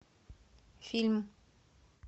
фильм